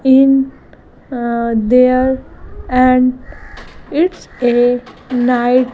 in ah there and its a night --